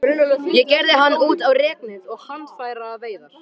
Ég gerði hann út á reknet og handfæraveiðar.